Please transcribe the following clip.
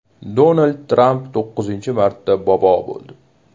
Donald Tramp to‘qqizinchi marta bobo bo‘ldi.